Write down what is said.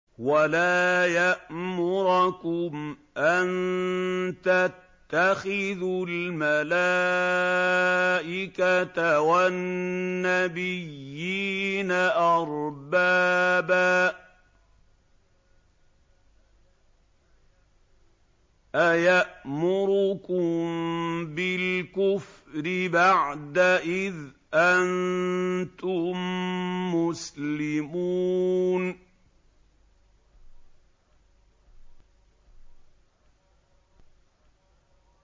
وَلَا يَأْمُرَكُمْ أَن تَتَّخِذُوا الْمَلَائِكَةَ وَالنَّبِيِّينَ أَرْبَابًا ۗ أَيَأْمُرُكُم بِالْكُفْرِ بَعْدَ إِذْ أَنتُم مُّسْلِمُونَ